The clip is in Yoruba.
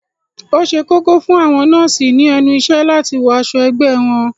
Ó ṣe kókó fún àwọn nọ́ọ̀sì ní ẹnu ìṣẹ́ láti wọ aṣọ ẹgbẹ́ wọn